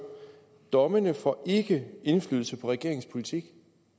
dommene får ikke indflydelse på regeringens politik